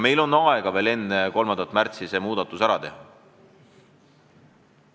Meil on aega veel enne 3. märtsi see muudatus ära teha.